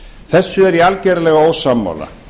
þessu er ég algerlega ósammála